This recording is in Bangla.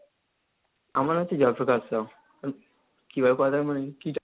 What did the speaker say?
আমার হচ্ছে জয়প্রকাশ রাউ,